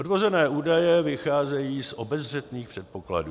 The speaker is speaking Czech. Odvozené údaje vycházejí z obezřetných předpokladů.